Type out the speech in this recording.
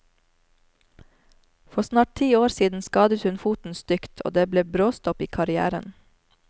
For snart ti år siden skadet hun foten stygt, og det ble bråstopp i karrièren.